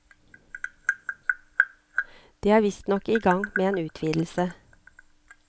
De er visstnok i gang med en utvidelse.